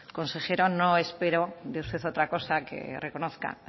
consejero no espero de usted otra cosa que reconozca